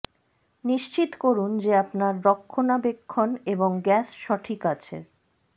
নিশ্চিত করুন যে আপনার রক্ষণাবেক্ষণ এবং গ্যাস সঠিক আছে